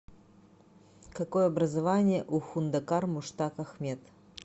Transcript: какое образование у хундакар муштак ахмед